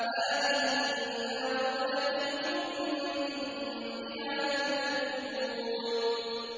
هَٰذِهِ النَّارُ الَّتِي كُنتُم بِهَا تُكَذِّبُونَ